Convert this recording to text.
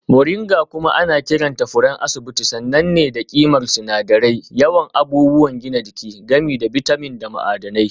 Moringa kuma ana kiranta furen asibiti sananne ne da ƙimar sinadirai, yawan abubuwan gina jiki, gami da bitamin da ma'adanai.